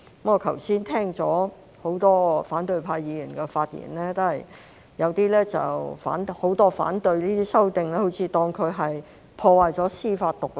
我剛才聽到很多反對派議員的發言，大多數反對這些修訂，好像當成這樣會破壞司法獨立。